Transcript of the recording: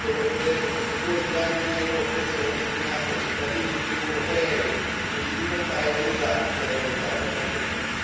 Io preferirei che questi due miliardi di euro fossero destinati a cittadini europei in difficoltà e non usati per alimentare altre guerre.